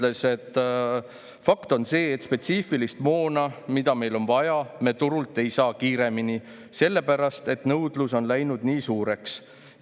Hanno Pevkur möödunud sügisel ütles: "Fakt on see, et spetsiifilist moona, mida meil on vaja, me turult ei saa kiiremini, sellepärast et nõudlus on läinud nii suureks.